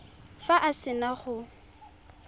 fa a se na go